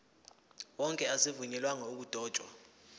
wonke azivunyelwanga ukudotshwa